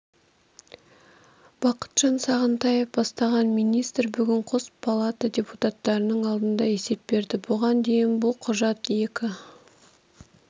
бақытжан сағынтаев бастаған министр бүгін қос палата депутаттарының алдында есеп берді бұған дейін бұл құжат екі